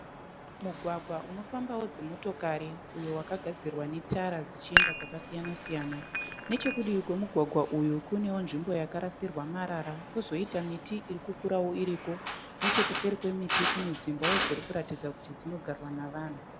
Mugwagwa unofambawo dzinonomotokari uyo wakagadzirwa netara dzichienda kwakasiyana -siyana. Nechekudivi kwemugwagwa uyu kunewo nzvimbo yakarasirwa marara kwozoita miti iri kukura iriko. Nechekuseri kwemiti kune dzimbawo dziri kuratidza kuti dzinogarwa nevanhu.